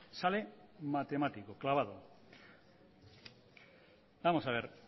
sale matemático clavado vamos a ver